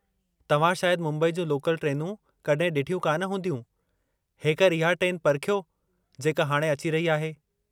तव्हां शायदि मुंबई जूं लोकल ट्रेनूं कड॒हिं डि॒ठियूं कान हूंदियूं ; हेकर इहा ट्रेन परखियो जेका हाणे अची रही आहे।